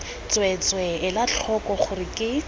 tsweetswee ela tlhoko gore ke